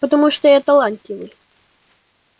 потому что я талантливый